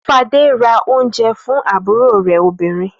Fadé ra oúnjẹ fún àbúrò rẹ̀ obìnrin.